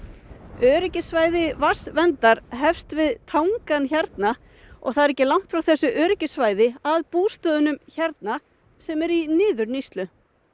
öryggissvæði vatnsverndar hefst við tangann hérna og það er ekki langt frá þessu öryggissvæði að bústöðunum hérna sem eru í niðurníðslu